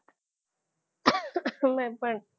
મેં પણ